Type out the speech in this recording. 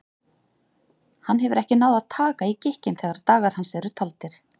Hann hefur ekki náð að taka í gikkinn þegar dagar hans eru taldir.